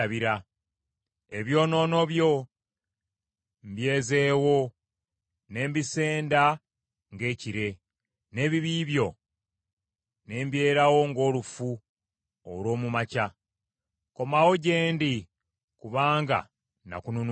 Ebyonoono byo mbyezeewo n’embisenda ng’ekire, n’ebibi byo ne mbyerawo ng’olufu olw’omu makya. Komawo gye ndi kubanga nakununula.”